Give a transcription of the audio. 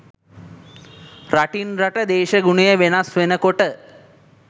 රටින් රට දේශගුණය වෙනස් වෙන කොට